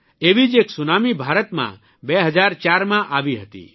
એવી જ એક સુનામી ભારતમાં 2004માં આવી હતી